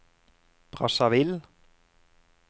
Brazzaville